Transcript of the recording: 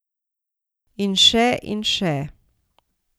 In še in še.